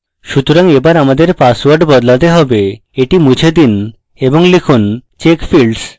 সুতরাং এবার আমাদের পাসওয়ার্ড বদলাতে হবে এটি মুছে দিন এবং এখানে লিখুন check fields